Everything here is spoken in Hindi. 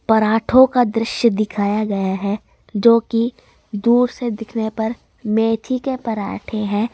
पराठों का दृश्य दिखाया गया है जोकि दूर से दिखने पर मेथी के पराठे हैं।